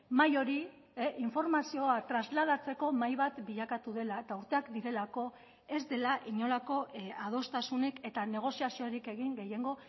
mahai hori informazioa trasladatzeko mahai bat bilakatu dela eta urteak direlako ez dela inolako adostasunik eta negoziaziorik egin gehiengo